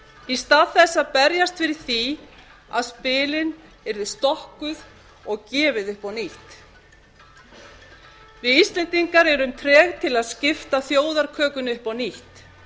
í stað þess að berjast fyrir því að spilin yrðu stokkuð og gefið upp á nýtt við íslendingar erum treg til að skipta þjóðarkökunni upp á nýtt